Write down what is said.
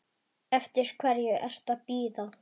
Eftir hverju ertu að bíða?